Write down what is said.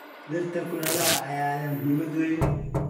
Dhirta kulaylaha ah ayaa leh muhiimad weyn.